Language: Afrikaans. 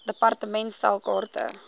department stel kaarte